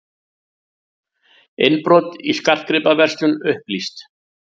Innbrot í skartgripaverslun upplýst